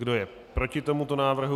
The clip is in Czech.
Kdo je proti tomuto návrhu?